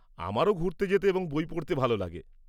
আমারও ঘুরতে যেতে এবং বই পড়তে ভাল লাগে।